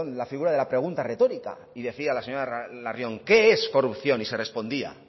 la figura de la pregunta retórica y decía la señora larrion qué es corrupción y se respondía